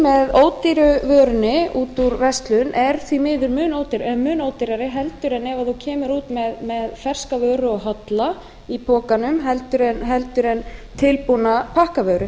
matarpokinn með ódýru vörunni út úr verslun er því miður mun ódýrari en ef þú kemur út með ferska vöru og holla í pokanum heldur en tilbúna pakkavöru